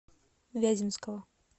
вяземского